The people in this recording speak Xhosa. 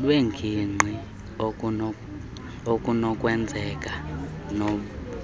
lwengingqi okunokwenzeka